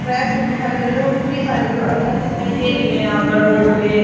traffic दिखाई दे रहा देखो कितनी सारी गाड़ियां दिखाई दे रही है यहां पर रोड पे--